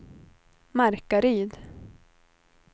Markaryd